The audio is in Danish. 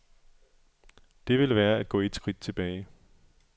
Det ville være at gå et skridt tilbage.